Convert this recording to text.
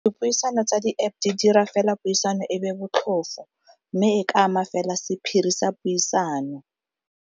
Dipuisano tsa di-App di dira fela puisano e be botlhofo mme e ka ama fela sephiri sa puisano.